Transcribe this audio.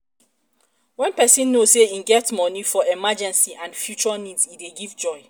when person know sey im get money for emergency and and future needs e dey give joy